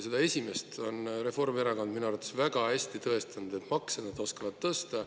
Seda teist on Reformierakond minu arvates väga hästi tõestanud: makse nad oskavad tõsta.